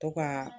To ka